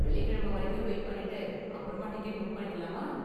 வெள்ளிக்கிழமை வரைக்கும் வெயிட் பண்ணிட்டு அப்பறமா டிக்கெட் புக் பண்ணிக்கலாமா?